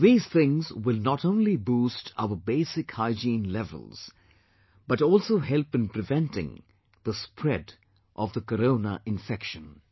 These things will not only boost our basic hygiene levels, but also help in preventing the spread of the Corona infection